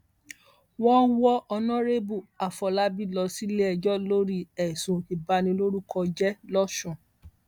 wọn wọ ọnàrẹbù àfọlábí lọ síléẹjọ lórí ẹsùn ìbanilórúkọ jẹ lọsùn